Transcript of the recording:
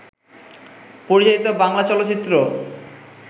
পরিচালিত বাংলা চলচ্চিত্র